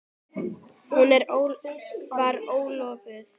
Hún var ólofuð.